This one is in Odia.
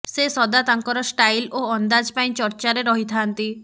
ସେ ସଦା ତାଙ୍କର ଷ୍ଟାଇଲ୍ ଓ ଅନ୍ଦାଜ ପାଇଁ ଚର୍ଚ୍ଚାରେ ରହିଥାନ୍ତି